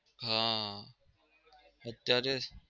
હા અત્યારે